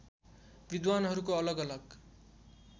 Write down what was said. विद्वानहरूको अलग अलग